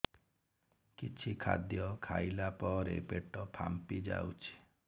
କିଛି ଖାଦ୍ୟ ଖାଇଲା ପରେ ପେଟ ଫାମ୍ପି ଯାଉଛି